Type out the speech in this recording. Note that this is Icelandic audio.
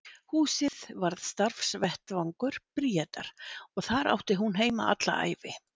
Húsið varð starfsvettvangur Bríetar og þar átti hún heima alla ævi.